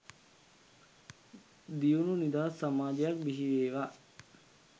දියුණු නිදහස් සමාජයක් බිහිවේවා